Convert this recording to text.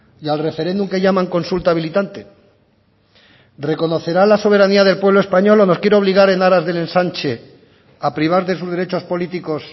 y al referéndum que llaman consulta habilitante reconocerá la soberanía del pueblo español o nos quiere obligar en aras del ensanche a privar de sus derechos políticos